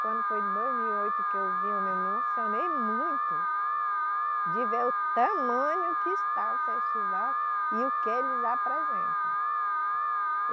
Quando foi em dois mil e oito que eu vi, eu me emocionei muito de ver o tamanho que está o festival e o que eles apresentam.